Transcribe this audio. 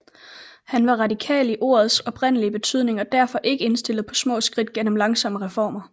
Han var radikal i ordets oprindelige betydning og derfor ikke indstillet på små skridt gennem langsomme reformer